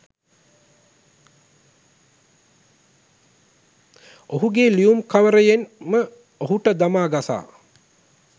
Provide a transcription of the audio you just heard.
ඔහුගේ ලියුම්කවරයෙන් ම ඔහුට දමා ගසා